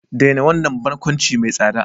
Daina wannan barkwanci mai tsada!